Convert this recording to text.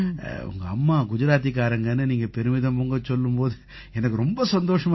உங்க அம்மா குஜராத்திக்காரங்கன்னு நீங்க பெருமிதம் பொங்க சொல்லும் போது எனக்கு ரொம்ப சந்தோஷமா இருக்கும்